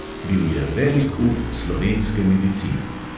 Bil je velik up slovenske medicine.